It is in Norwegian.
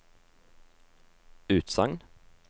utsagn